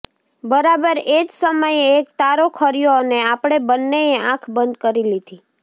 બરાબર એ જ સમયે એક તારો ખર્યો અને આપણે બન્નેએ આંખ બંધ કરી લીધી